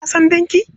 Ka san danki?